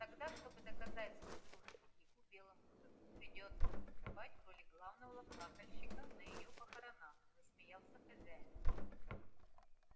тогда чтобы доказать свою дружбу дику белому клыку придётся выступать в роли главного плакальщика на её похоронах засмеялся хозяин